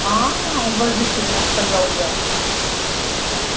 а-а-а-а уважительно сказала я